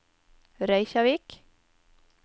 Reykjavík